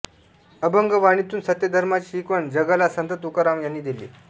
अभंगवाणीतून सत्यधर्माची शिकवण जगाला संत तुकाराम यांनी दिली